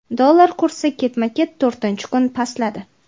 Dollar kursi ketma-ket to‘rinchi kun pastladi.